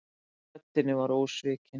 Harmurinn í röddinni ósvikinn.